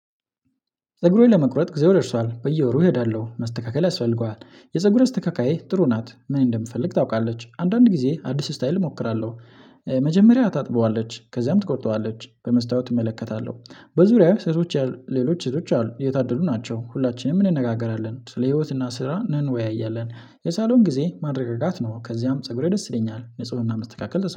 ፀጉሬን ለመቁረጥ ጊዜው ደርሷል በየወሩ እሄዳለሁ መስተካከል ያስፈልገዋል። የፀጉር አስተካካዬ ጥሩ ናት ምን እንደምፈልግ ታውቃለች አንዳንድ ጊዜ አዲስ ስታይል እሞክራለሁ። መጀመሪያ ታጥበዋለች ከዛም ትቆርጠዋለች በመስታወት እመለከታለሁ። በዙሪያዬ ሴቶች ሌሎች ሴቶች አሉ የታደሉ ናቸው። ሁላችንም እንነጋገራለን ስለ ህይወትና ስራ ነን እንንወያያለን የሳሎን ጊዜ ማረጋጋት ነው። ከዚያም ፀጉሬ ደስ ይለኛል ንፁህና መስተካከል